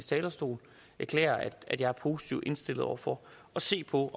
talerstol erklære at jeg er positivt indstillet over for at se på